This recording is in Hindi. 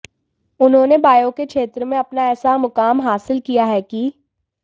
उन्होंने बायो के क्षेत्र में अपना ऐसा मुकाम हासिल किया है कि